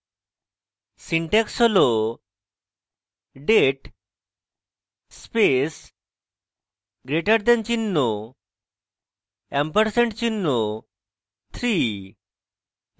syntax হল: date space greater the চিহ্ন ampersand চিহ্ন 3